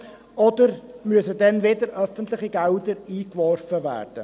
Oder müssen dann wieder öffentliche Gelder eingeworfen werden?